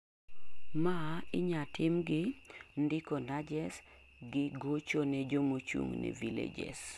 ma inyatim gi ndiko'nudges' gi gochone jomochungne villages